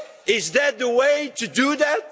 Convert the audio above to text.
Is that the way to do that?